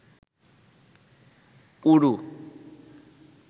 ঊরু